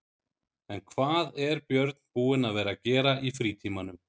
En hvað er Björn búinn að vera að gera í frítímanum?